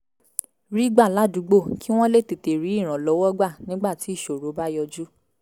rí gbà ládùúgbò kí wọ́n lè tètè rí ìrànlọ́wọ́ gbà nígbà tí ìṣòro bá yọjú